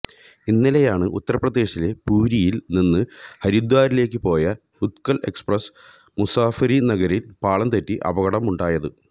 ഇന്നലെയാണ് ഉത്തര്പ്രദേശിലെ പുരിയിൽ നിന്ന് ഹരിദ്വാറിലേക്ക് പോയ ഉത്കൽ എക്സ്പ്രസ് മുസഫര്നഗറിൽ പാളം തെറ്റി അപകടമുണ്ടായത്